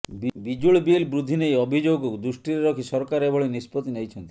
ବିଜୁଳି ବିଲ୍ ବୃଦ୍ଧି ନେଇ ଅଭିଯୋଗକୁ ଦୃଷ୍ଟିରେ ରଖି ସରକାର ଏଭଳି ନିଷ୍ପତ୍ତି ନେଇଛନ୍ତି